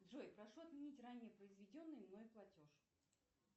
джой прошу отменить ранее произведенный мной платеж